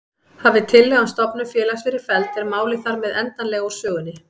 Hafi tillaga um stofnun félags verið felld er málið þar með endanlega úr sögunni.